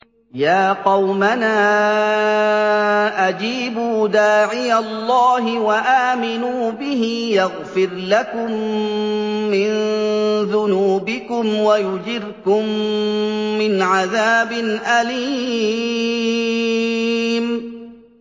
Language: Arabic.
يَا قَوْمَنَا أَجِيبُوا دَاعِيَ اللَّهِ وَآمِنُوا بِهِ يَغْفِرْ لَكُم مِّن ذُنُوبِكُمْ وَيُجِرْكُم مِّنْ عَذَابٍ أَلِيمٍ